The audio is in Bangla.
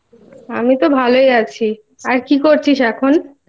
আমি তো ভালই আছি। আর কি করছিস এখন?